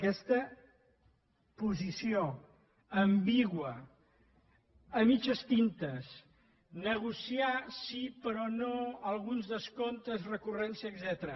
aquesta posició ambigua a mitges tintes negociar sí però no alguns descomptes recurrència etcètera